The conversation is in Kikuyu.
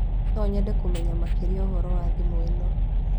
No nyende kũmenya makĩria ũhoro wa thimũ ĩno